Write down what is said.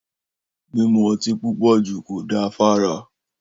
Mímù ọtì púpọ jú kò dà fàrá.